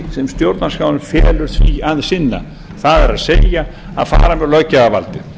sem stjórnarskráin felur því að sinna það er að fara með löggjafarvaldið